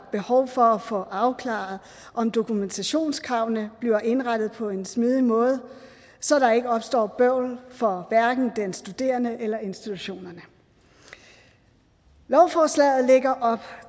behov for at få afklaret om dokumentationskravene bliver indrettet på en smidig måde så der ikke opstår bøvl for hverken den studerende eller institutionerne lovforslaget lægger op